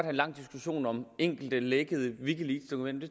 en lang diskussion om enkelte lækkede wikileaksdokumenter